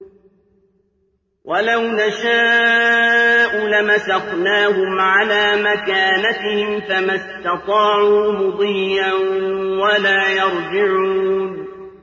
وَلَوْ نَشَاءُ لَمَسَخْنَاهُمْ عَلَىٰ مَكَانَتِهِمْ فَمَا اسْتَطَاعُوا مُضِيًّا وَلَا يَرْجِعُونَ